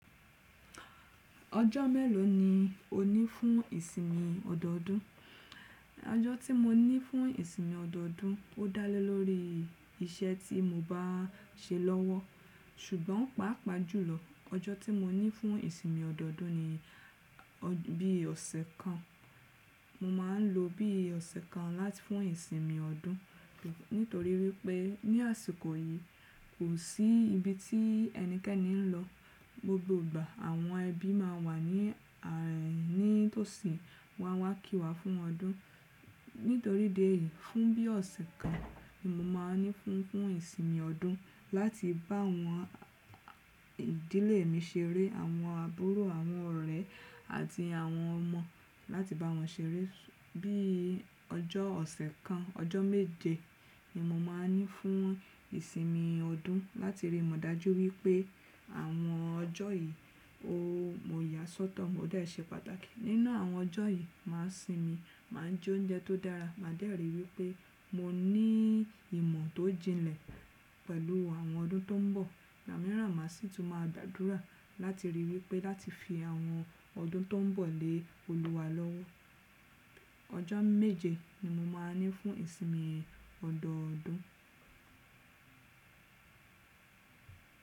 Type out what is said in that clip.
Ọjọ́ mélòó ni o ní fún ìsinmi ọ̀dọ́ọdún? Ọjọ́ tí mo ní fún ìsinmi ọ̀dọ́ọdún ó dá lé lórí iṣẹ́ tí mo bá ṣe lọ́wọ́. Ṣùgbọ́n pàápàá jùlọ, ọjọ́ tí mo ní fún ìsinmi ọ̀dọ́ọdún ni bí ọ̀sẹ̀ kan. Mo máa ń lo bí ọ̀sẹ̀ kan láti fún ìsinmin ọdún. Nítorí wípé ní àsìkò yìí, kò sí ibi tí ẹnikẹ́ni ń lọ. Gbogbo ìgbà àwọn ẹbí máa wà ní itòsí wọn a wá kí wa fún ọdún. Nítorí idi yìí, fún bí ọ̀sẹ̀ kan ni mo máa ní fún ìsinmi ọdún láti bá àwọn ìdílé mi ṣeré, àwọn àbúrò, àwọn ọ̀rẹ́ àti àwọn ọmọ láti bá wọn ṣeré. Bí i ọjọ́ ọ̀sẹ̀ kan, ọjọ́ méje ni mo máa ní fún ìsinmi ọdún láti rí mo dájú wípé àwọn ọjọ́ yìí ó mo yà sọ́tọ̀, ó dẹ́ ṣe pàtàkì. Nínú àwọn ọjọ́ yìí, màá sinmi, màá jó oúnjẹ tó dára, màá dẹ̀ ri wípé mo ní ìmọ̀ tó jinlẹ̀ pẹ̀lú àwọn ọdún tó ń bọ̀. Igbàmíràn màá sì tún máa gbàdúrà láti rí wípé láti fi àwọn ọdún tó ń bọ̀ lé Olúwa lọ́wọ́. Ọjọ́ méje ni mo máa ní fún ìsinmi ọ̀dọ́ọdún.